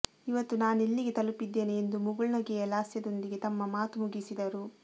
ಇವತ್ತು ನಾನೆಲ್ಲಿಗೆ ತಲುಪಿದ್ದೇನೆ ಎಂದು ಮುಗುಳ್ನಗೆಯ ಲಾಸ್ಯದೊಂದಿಗೆ ತಮ್ಮ ಮಾತು ಮುಗಿಸಿದರು